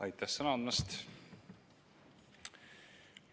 Aitäh sõna andmast!